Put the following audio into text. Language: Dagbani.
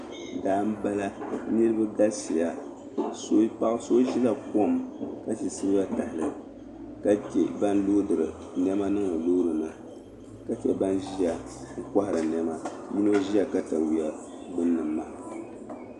Daa m-bala niriba galisiya paɣa so ʒila kom ka ʒi siliba tahali ka che ban loodiri nɛma niŋdi loori ni ka che ban ʒiya kɔhiri nɛma yino ʒila katawiya gbunni maham.